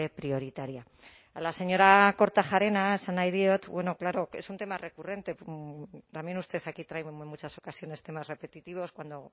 prioritaria a la señora kortajarena esan nahi diot bueno claro es un tema recurrente también usted aquí trae en muchas ocasiones temas repetitivos cuando